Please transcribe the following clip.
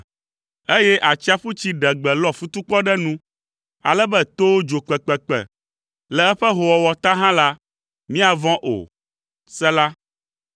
eye atsiaƒutsi ɖe gbe lɔ futukpɔ ɖe nu, ale be towo dzo kpekpekpe le eƒe howɔwɔ ta hã la, míavɔ̃ o. Sela